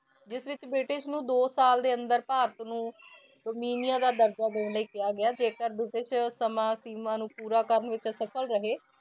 ਜਿਸ ਵਿੱਚ ਬ੍ਰਿਟਿਸ਼ ਨੂੰ ਦੋ ਸਾਲ ਦੇ ਅੰਦਰ ਭਾਰਤ ਨੂੰ ਦਾ ਦਰਜਾ ਦੇਣ ਲਈ ਕਿਹਾ ਗਿਆ ਜੇਕਰ ਸਮਾਂ ਸੀਮਾਂ ਨੂੰ ਪੂਰਾ ਕਰਨ ਵਿੱਚ ਅਸਫ਼ਲ ਰਹੇ,